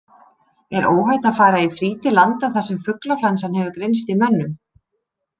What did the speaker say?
Er óhætt að fara í frí til landa þar sem fuglaflensa hefur greinst í mönnum?